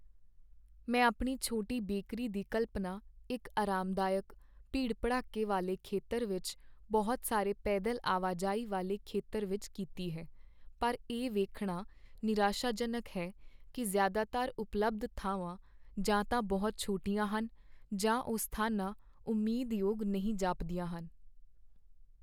ਮੈਂ ਆਪਣੀ ਛੋਟੀ ਬੇਕਰੀ ਦੀ ਕਲਪਨਾ ਇੱਕ ਆਰਾਮਦਾਇਕ, ਭੀੜ ਭੜੱਕੇ ਵਾਲੇ ਖੇਤਰ ਵਿੱਚ ਬਹੁਤ ਸਾਰੇ ਪੈਦਲ ਆਵਾਜਾਈ ਵਾਲੇ ਖੇਤਰ ਵਿੱਚ ਕੀਤੀ ਹੈ, ਪਰ ਇਹ ਵੇਖਣਾ ਨਿਰਾਸ਼ਾਜਨਕ ਹੈ ਕਿ ਜ਼ਿਆਦਾਤਰ ਉਪਲਬਧ ਥਾਂਵਾਂ ਜਾਂ ਤਾਂ ਬਹੁਤ ਛੋਟੀਆਂ ਹਨ ਜਾਂ ਉਹ ਸਥਾਨਾਂ ਉਮੀਦਯੋਗ ਨਹੀਂ ਜਾਪਦੀਆਂ ਹਨ